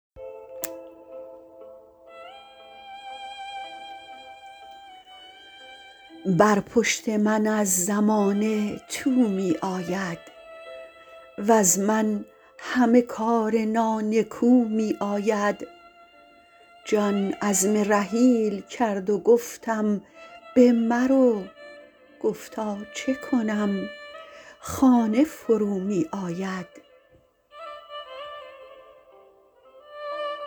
بر پشت من از زمانه تو می آید وز من همه کار نانکو می آید جان عزم رحیل کرد و گفتم بمرو گفتا چه کنم خانه فرومی آید